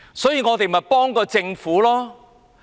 所以，我們才要幫助政府。